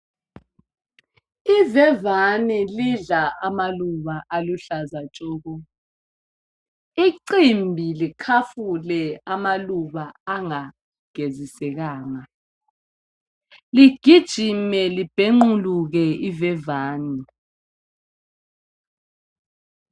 Ivevane lidla amaluba aluhlaza tshoko icimbi likhafule amaluba angagezisekanga ligijime libhenquluke ivevane